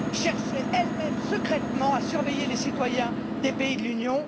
cherchait, elle même, secrètement à surveiller les citoyens des États membres de l'Union